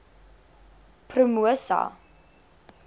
promosa